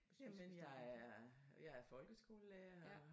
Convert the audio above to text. Jamen jeg er jeg er folkeskolerlærer og